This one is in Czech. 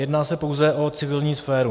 Jedná se pouze o civilní sféru.